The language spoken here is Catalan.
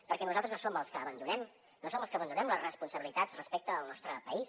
perquè nosaltres no som els que abandonem no som els que abandonem les responsabilitats respecte al nostre país